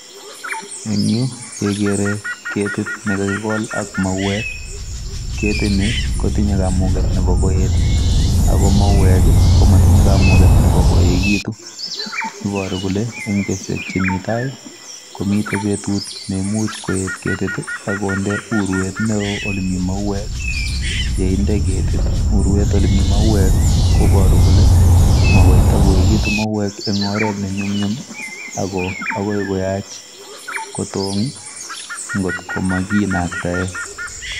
En yuh kegere ketit nekakikol ak mauek, ketini kotinye kamuget Nebo koet i,ak KO mauwek komotinye kamauuget nebo koekitun. Iboiru kole en betusiek chemitai, mi betut neimuch koet ketiit ak kondee urwet neo olemi mauwek. Yeinde ketit urwet olemi mauwek kobooru kole makoitakoyeekitun mauwek en oret nenyumnyum, ako akoi kotong angot konakinaktaen.